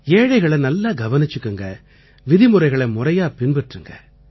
ஏழைகளை நல்லா கவனிச்சுக்குங்க விதிமுறைகளை முறையா பின்பற்றுங்க